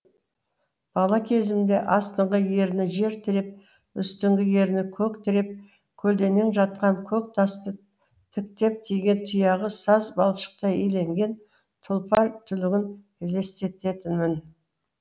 бала кезімде астыңғы ерні жер тіреп үстіңгі ерні көк тіреп көлденең жатқан көк тасты тіктеп тиген тұяғы саз балшықтай иелеген тұлпар түлігін елестететінмін